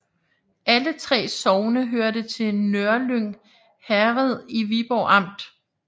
Alle 3 sogne hørte til Nørlyng Herred i Viborg Amt